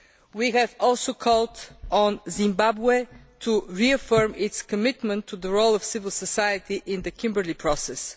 We have also called on Zimbabwe to reaffirm its commitment to the role of civil society in the Kimberley Process.